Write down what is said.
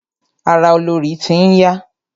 Ara olorì ti n ya.